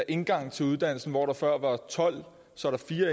indgangen til uddannelsen hvor der før var tolv